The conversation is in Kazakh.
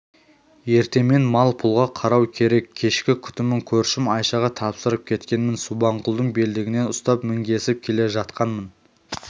ертемен мал-пұлға қарау керек кешкі күтімін көршім айшаға тапсырып кеткенмін субанқұлдың белдігінен ұстап мінгесіп келе жатқанмын